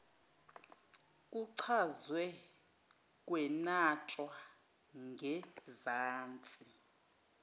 kuchazwe kwenatshwa ngezansi